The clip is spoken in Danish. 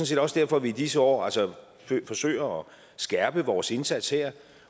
set også derfor at vi i disse år forsøger at skærpe vores indsats her